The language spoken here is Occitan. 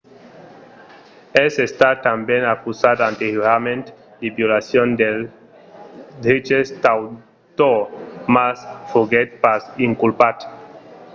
es estat tanben acusat anteriorament de violacion dels dreches d'autor mas foguèt pas inculpat